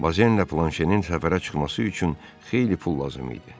Bozenlə planşenin səfərə çıxması üçün xeyli pul lazım idi.